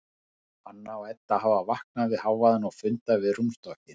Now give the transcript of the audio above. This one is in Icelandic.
Anna og Edda hafa vaknað við hávaðann og funda við rúmstokkinn.